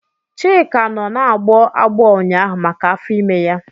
Chika nọ na-agbọ agbọọ ụnyaahụ maka afọ ime ya.